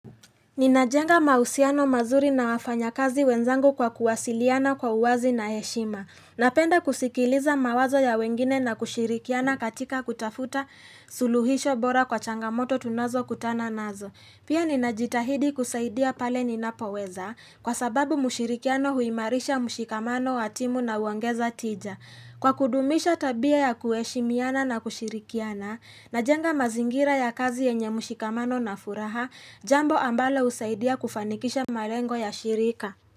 Ninajenga mahusiano mazuri na wafanya kazi wenzangu kwa kuwasiliana kwa uwazi na heshima. Napenda kusikiliza mawazo ya wengine na kushirikiana katika kutafuta suluhisho bora kwa changamoto tunazo kutana nazo. Pia ninajitahidi kusaidia pale ninapo weza kwa sababu mushirikiano huimarisha mushikamano watimu na huongeza tija. Kwa kudumisha tabia ya kuheshimiana na kushirikiana na jenga mazingira ya kazi yenye mushikamano na furaha, jambo ambalo husaidia kufanikisha marengo ya shirika.